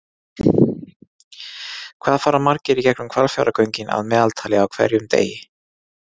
hvað fara margir í gegnum hvalfjarðargöngin að meðaltali á hverjum degi